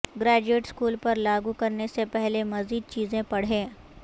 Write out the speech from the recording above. graduate school پر لاگو کرنے سے پہلے مزید چیزیں پڑھیں